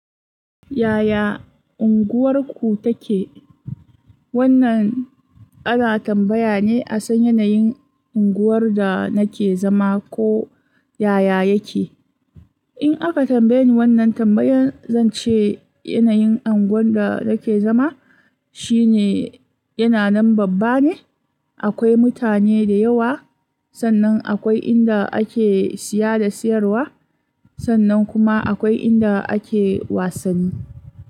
Yaya unguwarku take? Wannan ana tambaya ne a san yanayin unguwar da nake zama ko yaya yake. In aka tambaye ni wannan tambayan zan ce yanayin unguwan da nake zama shine yana nan babba ne. Akwai mutane da yawa, sannan akwai inda ake siya da siyarwa, sannan kuma akwai inda ake wasanni.